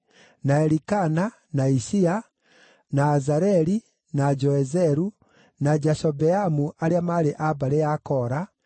na Elikana, na Ishia, na Azareli, na Joezeru, na Jashobeamu arĩa maarĩ a mbarĩ ya Kora;